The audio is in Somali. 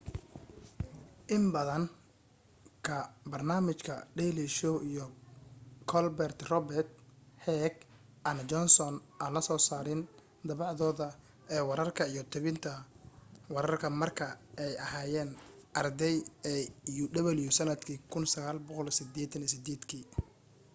in badan ka barnaamijka daily show iyo colber report heck and johnson aan la soo saarin dabacdooda ee wararka iyo tabinta wararka marka ay aheyeen arday ee uw sanadka 1988